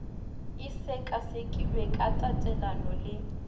e sekasekilwe ka tatelano le